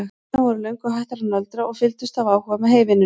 Stúlkurnar voru löngu hættar að nöldra og fylgdust af áhuga með heyvinnunni.